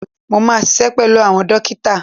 Máa ṣiṣẹ́ pẹ̀lú àwọn dókítà.